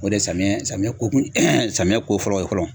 O de samiɲɛ samiɲɛ ko kun samiɲɛ ko fɔlɔ ye fɔlɔ.